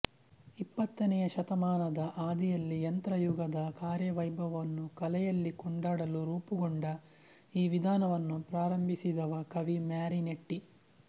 ಇಪ್ಪತ್ತನೆಯ ಶತಮಾನದ ಆದಿಯಲ್ಲಿ ಯಂತ್ರಯುಗದ ಕಾರ್ಯವೈಭವವನ್ನು ಕಲೆಯಲ್ಲಿ ಕೊಂಡಾಡಲು ರೂಪುಗೊಂಡ ಈ ವಿಧಾನವನ್ನು ಪ್ರಾರಂಭಿಸಿದವ ಕವಿ ಮ್ಯಾರಿನೆಟ್ಟಿ